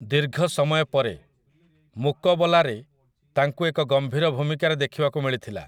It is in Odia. ଦୀର୍ଘ ସମୟ ପରେ 'ମୁକବଲା'ରେ ତାଙ୍କୁ ଏକ ଗମ୍ଭୀର ଭୂମିକାରେ ଦେଖିବାକୁ ମିଳିଥିଲା ।